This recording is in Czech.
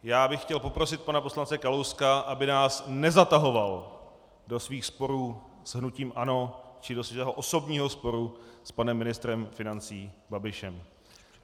Já bych chtěl poprosit pana poslance Kalouska, aby nás nezatahoval do svých sporů s hnutím ANO či do svého osobního sporu s panem ministrem financí Babišem.